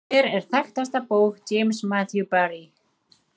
Hver er þekktasta bók James Matthew Barrie?